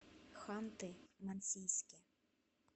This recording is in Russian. ханты мансийске